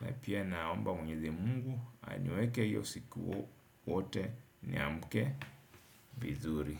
Na pia naomba mwenyezi Mungu aniweke hiyo usiku wote niamke vizuri.